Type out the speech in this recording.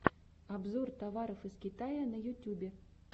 обзор товаров из китая на ютюбе